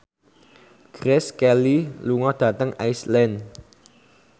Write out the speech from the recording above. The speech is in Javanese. Grace Kelly lunga dhateng Iceland